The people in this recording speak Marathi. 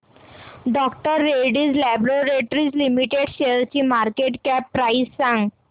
डॉ रेड्डीज लॅबोरेटरीज लिमिटेड शेअरची मार्केट कॅप प्राइस सांगा